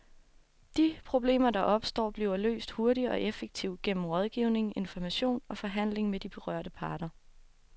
De problemer, der opstår, bliver løst hurtigt og effektivt gennem rådgivning, information og forhandling med de berørte parter.